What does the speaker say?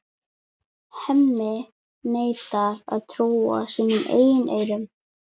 Hemmi neitar að trúa sínum eigin eyrum.